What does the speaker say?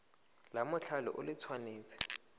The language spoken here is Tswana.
la mothale o le tshwanetse